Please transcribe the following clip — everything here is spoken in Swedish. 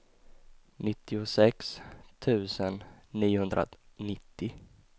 nittiosex tusen niohundranittio